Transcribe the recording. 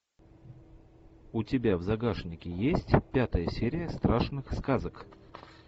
у тебя в загашнике есть пятая серия страшных сказок